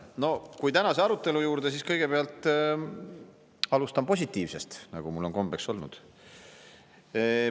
Kui minna tänase arutelu juurde, siis kõigepealt alustan positiivsest, nagu mul on kombeks olnud.